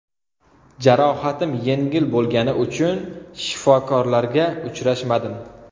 Jarohatim yengil bo‘lgani uchun shifokorlarga uchrashmadim.